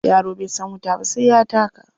Yaro bai san wuta ba sai ya taka.